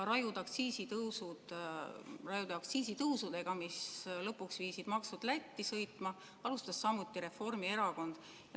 Rajude aktsiisitõusudega, mis lõpuks panid maksud Lätti sõitma, alustas samuti Reformierakond.